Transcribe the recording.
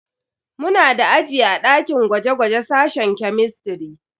Muna da aji a dakin gwaje-gwaje sashen kemistiri.